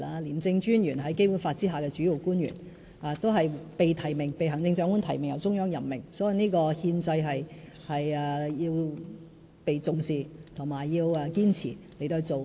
廉政專員是《基本法》下的主要官員，是被行政長官提名及由中央任命的，這個憲制需要被重視及堅持。